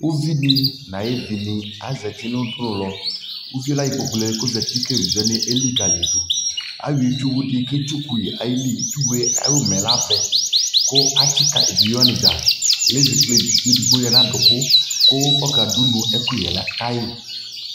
Uvidi na yi vi ni azati nu udu nu lɔUvi la yɔ kpoku lɛ kɔ zati kɛ ɛvidze wani ɛlikali yi duAya itsu wu dι kɛ tsu ku yi itsu yɛ ɛtugbo yi ka yi mɛ la vɛ ka atsi ka evidze wani dza lɛ zɛ kple evidze ɛdigbo di ya nu aduku kɔka du nu ɛku yɛ ka yi